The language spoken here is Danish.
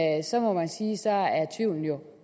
jo